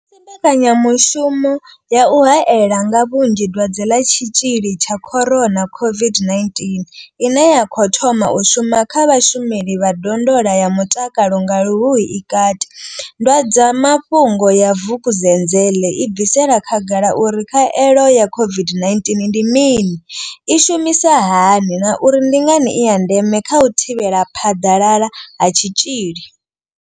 Musi mbekanyamushumo ya u haela nga vhunzhi dwadze ḽa Tshitzhili tsha corona COVID-19 ine ya khou thoma u shuma kha vhashumeli vha ndondola ya mutakalo nga Luhuhi i kati, ndwadzamafhungo ya Vukuzenzele i bvisela khagala uri khaelo ya COVID-19 ndi mini, i shumisa hani na uri ndi ngani i ya ndeme kha u thivhela phaḓalala ha tshitzhili.